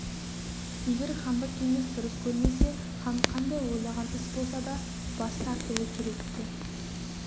егер хандық кеңес дұрыс көрмесе хан қандай ойлаған іс болса да бас тартуы керек-ті